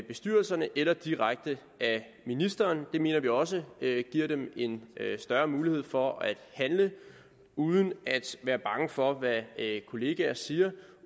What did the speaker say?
bestyrelserne eller direkte af ministeren det mener vi også giver dem en større mulighed for at handle uden at være bange for hvad kolleger siger og